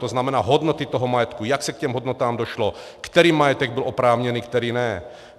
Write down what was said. To znamená, hodnoty toho majetku, jak se k těm hodnotám došlo, který majetek byl oprávněný, který ne.